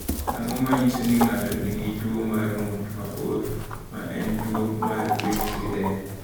Ang’o ma nyiso ni ng’ato nigi tuwo mar ng’ut mabor, ma en tuwo mar piny Sweden?